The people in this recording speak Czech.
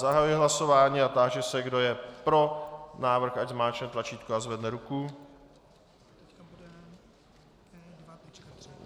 Zahajuji hlasování a táži se, kdo je pro návrh, ať zmáčkne tlačítko a zvedne ruku.